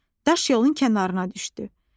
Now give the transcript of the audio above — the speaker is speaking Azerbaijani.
Daş yolun kənarına düşdü.